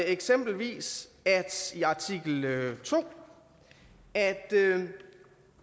eksempelvis i artikel to at